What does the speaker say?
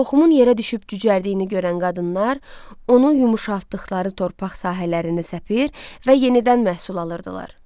Toxumun yerə düşüb cücərdiyini görən qadınlar onu yumşaltdıqları torpaq sahələrinə səpir və yenidən məhsul alırdılar.